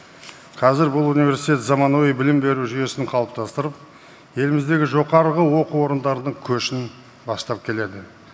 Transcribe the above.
қазір бұл университет заманауи білім беру жүйесін қалыптастырып еліміздегі жоғарғы оқу орындардың көшін бастап келеді